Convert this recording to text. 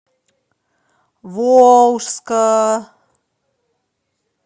волжска